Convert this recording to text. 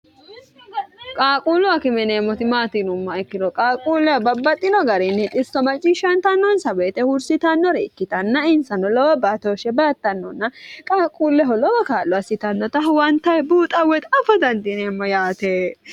qaaquullu akime yineemmoti maati yinummaha ikkiro qaaquulleha babbaxxino garinni xisso maciishshantannonsa weeyixe huursitannore ikkitanna insano lowa baatooshshe baattannonna qaaquulleho lowo kaa'lo assitannota huwantanni buuxa woyi afa dandineemmo yaate